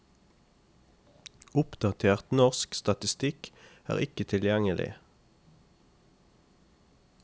Oppdatert norsk statistikk er ikke tilgjengelig.